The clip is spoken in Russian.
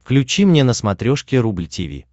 включи мне на смотрешке рубль ти ви